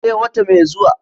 sai wata mai zuwa